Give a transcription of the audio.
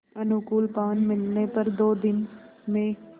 अनुकूल पवन मिलने पर दो दिन में